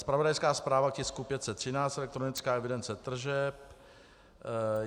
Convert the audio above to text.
Zpravodajská zpráva tisku 513 - elektronická evidence tržeb.